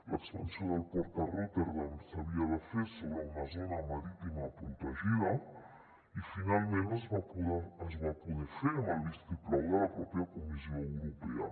l’expansió del port de rotterdam s’havia de fer sobre una zona marítima protegida i finalment es va poder fer amb el vistiplau de la pròpia comissió europea